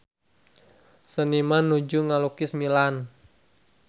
Seniman nuju ngalukis Milan